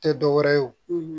Tɛ dɔ wɛrɛ ye o